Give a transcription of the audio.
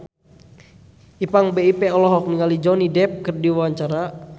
Ipank BIP olohok ningali Johnny Depp keur diwawancara